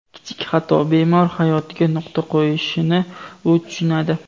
Kichik xato bemor hayotiga nuqta qo‘yishini u tushunadi.